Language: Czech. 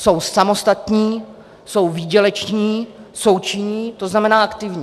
Jsou samostatní, jsou výděleční, jsou činní, to znamená aktivní.